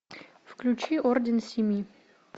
включи орден семи